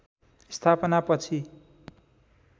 स्थापना पछि